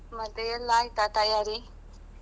ಆಯ್ತು ಮತ್ತೆ ಎಲ್ಲಾ ಆಯ್ತಾ ತಯಾರಿ?